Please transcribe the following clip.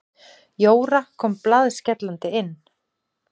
Jóra kom blaðskellandi inn.